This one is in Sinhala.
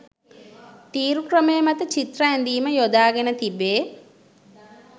තීරු ක්‍රමය මත චිත්‍ර ඇඳීම යොදාගෙන තිබේ.